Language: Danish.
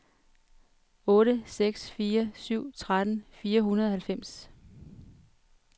otte seks fire syv tretten fire hundrede og halvfems